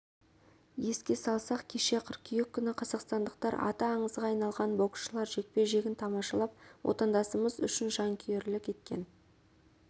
еске салсақ кеше қыркүйек күні қазақстандықтар аты аңызға айналған боксшылар жекпе-жегін тамашалап отандасымыз үшін жанкүйерлік еткен